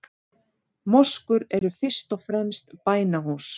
Moskur eru fyrst og fremst bænahús.